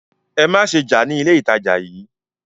Ẹ má ṣe jà ní ilé ìtajà yìí!